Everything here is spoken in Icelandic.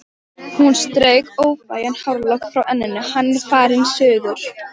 Hún strauk óþægan hárlokk frá enninu: Hann er farinn suður